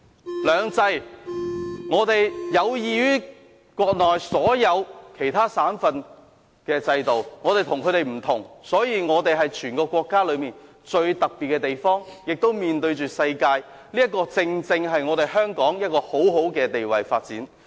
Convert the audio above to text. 在"兩制"方面，我們的制度有異於國內所有其他省份的制度，所以香港是全國最特別的地方，同時亦面向世界，這正正讓香港處於很好的發展位置。